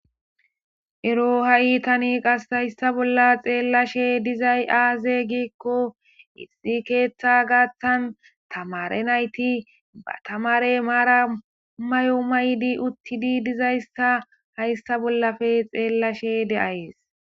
Ero ha7i tani qaska hista bola xeelashe de7iza azee giko issi keththi gaththan tamare nayti ba tamare maran mayo mayidi uttidi dizaysika haysa bollape xeelashe de7ays.